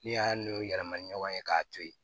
N'i y'a n'o yɛlɛma ɲɔgɔn ye k'a to ye